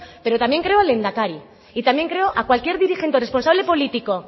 pero también creo al lehendakari y también creo a cualquier dirigente responsable político